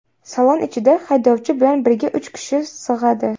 Salon ichida haydovchi bilan birga uch kishi sig‘adi.